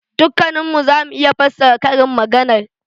Dukkannin mu za mu iya fassara karin maganar.